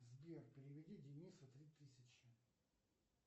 сбер переведи денису три тысячи